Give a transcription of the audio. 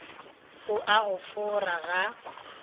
o a go fora ga